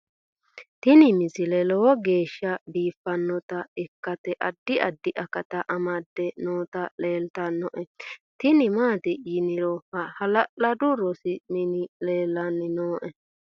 tini misile lowo geeshsha biiffannota ikkite addi addi akata amadde nooti leeltannoe tini maati yiniro hala'ladu rosu mini leellanni nooe